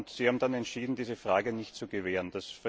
Sie haben dann entschieden, diese Frage nicht zu gewähren.